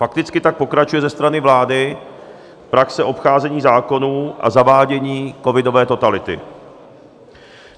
Fakticky tak pokračuje ze strany vlády praxe obcházení zákonů a zavádění covidové totality.